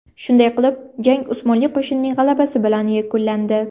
Shunday qilib, jang Usmonli qo‘shining g‘alabasi bilan yakunlandi.